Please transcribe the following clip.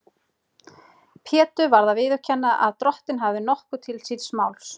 Pétur varð að viðurkenna að Drottinn hafði nokkuð til síns máls.